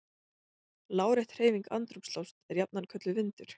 Lárétt hreyfing andrúmslofts er jafnan kölluð vindur.